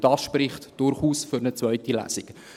Dies spricht durchaus für eine zweite Lesung.